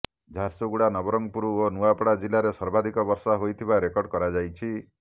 ଝାରସୁଗୁଡ଼ା ନବରଙ୍ଗପୁର ଓ ନୂଆପଡ଼ା ଜିଲ୍ଲାରେ ସର୍ବାଧିକ ବର୍ଷା ହୋଇଥିବା ରେକର୍ଡ କରାଯାଇଛି